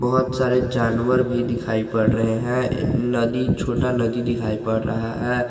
बहोत सारे जानवर भी दिखाई पड़ रहे हैं नदी छोटा नदी दिखाई पड़ रहा है।